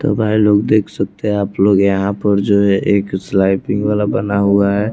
तो भाई लोग देख सकते हैं आप लोग यहां पर जो है एक स्लाइपिंग वाला बना हुआ है।